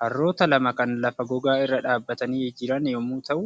Harroota lama kan lafa gogaa irra dhaabbatanii jiran yommuu ta'u,